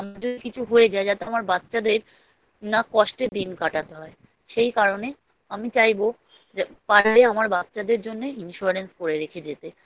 আমার যদি কিছু হয়ে যায় যাতে আমার বাচ্চাদের না কষ্টে দিন কাটাতে হয় সেই কারণে আমি চাইবো যে পারলে আমার বাচ্চাদের জন্যে Insurance করে রেখে যেতে